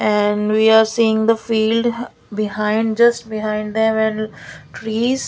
and we are seeing the field behind just behind them and trees.